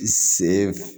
I se